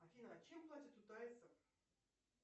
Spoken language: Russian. афина чем платят у тайцев